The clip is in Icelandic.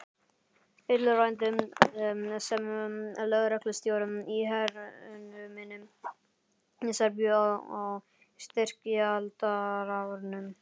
Illræmdur sem lögreglustjóri í hernuminni Serbíu á styrjaldarárunum.